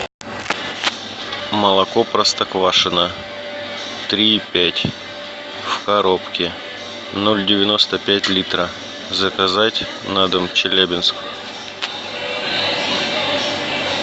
молоко простоквашино три и пять в коробке ноль девяносто пять литра заказать на дом челябинск